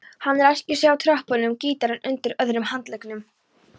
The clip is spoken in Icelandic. Hann ræskir sig á tröppunum, gítarinn undir öðrum handleggnum.